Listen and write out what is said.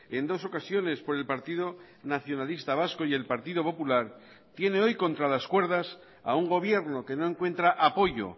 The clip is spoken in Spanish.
en dos ocasiones por el partido nacionalista vasco y el partido popular tiene hoy contra las cuerdas a un gobierno que no encuentra apoyo